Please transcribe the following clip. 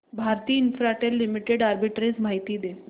Bharti Infratel limited arbitrage माहिती दे